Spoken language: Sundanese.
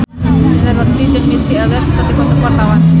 Indra Bekti jeung Missy Elliott keur dipoto ku wartawan